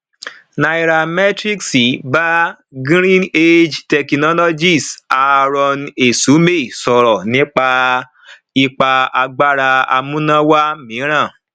nairametrics bá greenage technologies aarọn esumeh sọrọ nípa ipa àgbára amúnáwá mìíràn